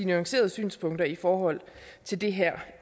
nuancerede synspunkter i forhold til det her